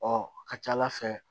Ɔ ka ca ala fɛ